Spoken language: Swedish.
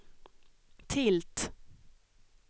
tilt